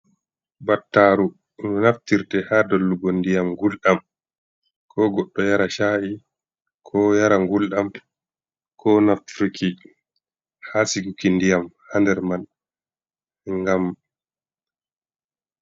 Battaru ndu naftirte haa dollugo ndiyam ngulɗam, ko goɗɗo yara ca’i, ko yara ngulɗam, ko naftirki haa sikuki ndiyam, haa nder man ngam.